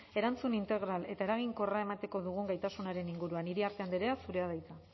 erantzun integral eta eraginkorra emateko dugun gaitasunaren inguruan iriarte andrea zurea da hitza